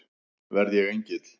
Verð ég engill?